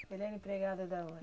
Ele era empregado da onde?